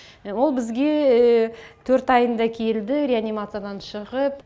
ол бізге төрт айында келді реанимациядан шығып